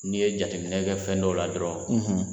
N'i ye jateminɛ kɛ fɛn dɔw la dɔrɔn